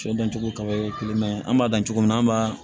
Sɛ dancogo ka ye kelen mɛ an b'a dan cogo min na an b'a